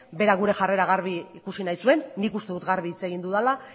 berak gure jarrera garbi ikusi nahi zuen nik uste dut garbi hitz egin dudala